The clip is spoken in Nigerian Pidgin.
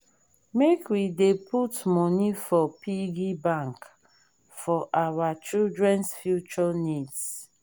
make we dey put money for piggy bank for our children’s future needs.